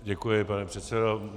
Děkuji, pane předsedo.